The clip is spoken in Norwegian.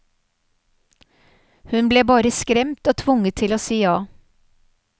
Hun ble bare skremt og tvunget til å si ja.